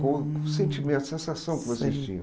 Qual o sentimento, a sensação que vocês tinham?